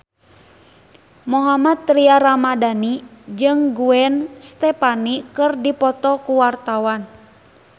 Mohammad Tria Ramadhani jeung Gwen Stefani keur dipoto ku wartawan